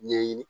Ɲɛɲini